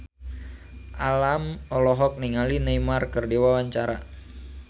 Alam olohok ningali Neymar keur diwawancara